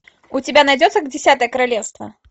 у тебя найдется десятое королевство